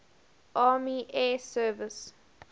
army air service